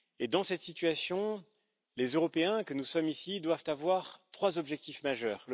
Dans cette situation, les Européens que nous sommes doivent avoir trois objectifs majeurs.